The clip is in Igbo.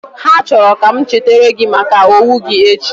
Ha chọrọ ka m chetara gị maka owo gi echi